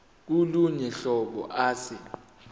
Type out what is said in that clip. kolunye uhlobo ase